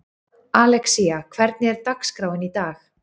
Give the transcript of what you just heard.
Alexía, hvernig er dagskráin í dag?